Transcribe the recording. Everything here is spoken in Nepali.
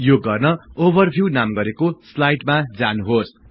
यो गर्न ओभरभिउ नाम गरेको स्लाईडमा जानुहोस्